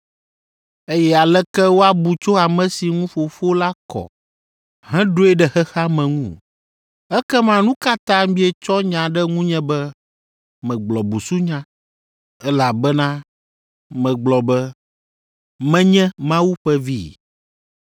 eye aleke woabu tso ame si ŋu Fofo la kɔ heɖoe ɖe xexea me ŋu? Ekema nu ka ta mietsɔ nya ɖe ŋunye be megblɔ busunya, elabena megblɔ be, ‘Menye Mawu ƒe Vi’?